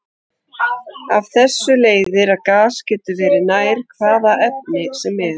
Af þessu leiðir að gas getur verið nær hvaða efni sem er.